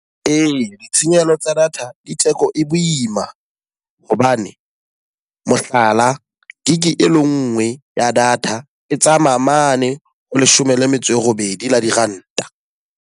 Ee, ditshenyehelo tsa data di theko e boima. Hobane mohlala, gig e le ngwe ya data e tsamaya mane ho leshome le metso e robedi la diranta.